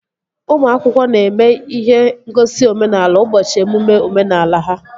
Ụmụ akwụkwọ na-eme ihe ngosi omenala ụbọchị emume omenala ha